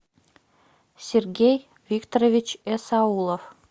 сергей викторович эсаулов